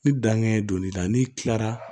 Ni danŋɛ ye don n'i la n'i kilara